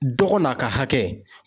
Dɔgɔ n'a ka hakɛ